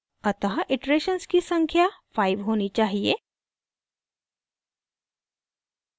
अतः इटरेशन्स की संख्या 5 होनी चाहिए